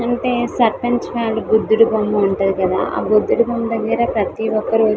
బుద్ధుడి బొమ్మ ఉంటుంది కదా ఆ బుద్ధుడి బొమ్మ దగ్గర ప్రతి ఒక్కరు --